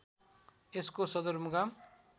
यसको सदरमुकाम